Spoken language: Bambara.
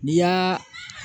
N'i y'aa